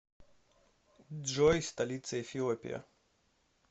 джой столица эфиопия